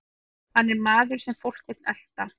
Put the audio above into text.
Hann er maður sem fólk vill elta.